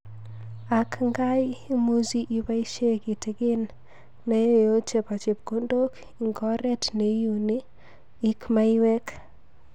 Ak ngaii, imuchi ibaishe kitikin naeo chebo chepkondok ik ngoret neuni ik maiwek.